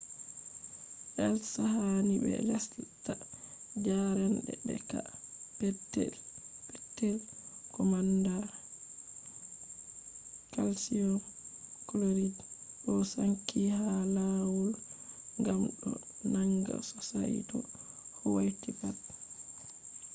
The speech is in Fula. heels ha ni be lesta . jarende be ka`e petel-petel ko manda calcium chloride do sanki ha lawul gam do nanga sosai to hauti pat